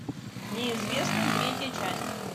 неизвестный третья часть